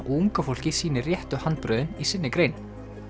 unga fólkið sýnir réttu handbrögðin í sinni grein